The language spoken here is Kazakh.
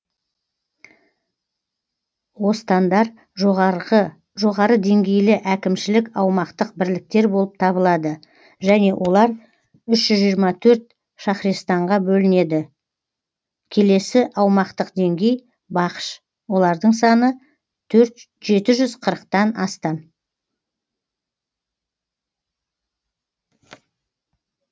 остандар жоғары деңгейлі әкімшілік аумақтық бірліктер болып табылады және олар үш жүз жиырма төрт шахрестанға бөлінеді келесі аумақтық деңгей бахш олардың саны жеті жүз қырықтан астам